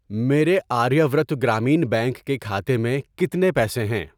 میرے Aryavart Gramin bank کے کھاتے میں کتنے پیسے ہیں؟